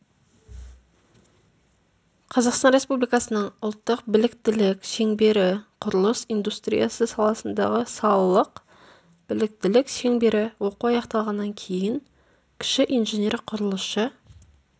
қазақстан республикасының ұлттық біліктілік шеңбері құрылыс индустриясы саласындағы салалық біліктілік шеңбері оқу аяқталғаннан кейін кіші инженер-құрылысшы